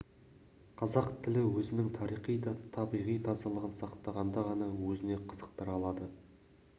қазақ тілі өзінің тарихи да табиғи тазалығын сақтағанда ғана өзіне қызықтыра алады